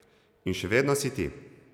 In še vedno si ti.